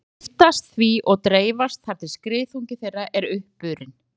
Þau lyftast því og dreifast þar til skriðþungi þeirra er uppurinn.